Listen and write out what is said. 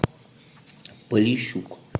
полищук